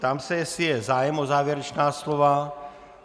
Ptám se, jestli je zájem o závěrečná slova.